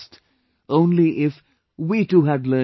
"Only if...we too had learnt this